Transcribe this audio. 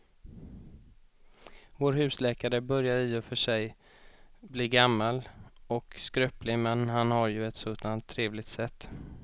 Vår husläkare börjar i och för sig bli gammal och skröplig, men han har ju ett sådant trevligt sätt!